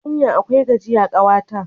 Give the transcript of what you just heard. Hanya akwai gajiya, kawa ta.